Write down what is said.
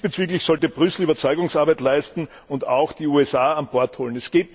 Diesbezüglich sollte Brüssel Überzeugungsarbeit leisten und auch die USA an Bord holen.